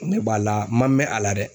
Ne b'a la n ma mɛn a la dɛ.